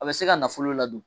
A bɛ se ka nafolo ladon